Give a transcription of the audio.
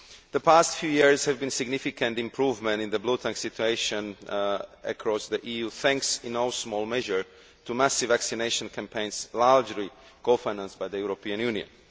The past few years have seen a significant improvement in the bluetongue situation across the EU, thanks in no small measure to massive vaccination campaigns largely cofinanced by the European Union.